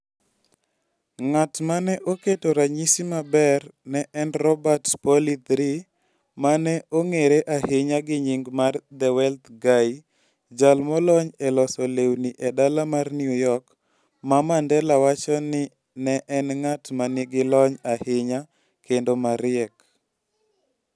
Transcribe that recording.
Ng'at ma ne oketo ranyisi maber ne en Robert Pauley III, ma ne ong'ere ahinya gi nying mar The Wealth Guy, jal molony e loso lewni e dala mar New York ma Mandela wacho ni ne en ng'at ma nigi lony ahinya kendo mariek.